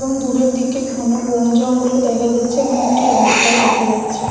দূরের দিকে ঘন বন জঙ্গল ও দেখা যাচ্ছে । এবং একটি রাস্তায় দেখা যাচ্ছে ।